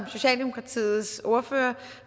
socialdemokratiets ordfører